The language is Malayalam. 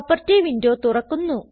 പ്രോപ്പർട്ടി വിൻഡോ തുറക്കുന്നു